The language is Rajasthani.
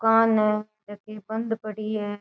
दूकान है जकी बंद पड़ी है।